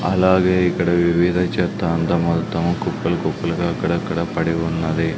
అలాగే ఇక్కడ వివిధ చెత్త అంతా మొత్తం కుప్పలు కుప్పలుగా అక్కడక్కడ పడి ఉన్నది.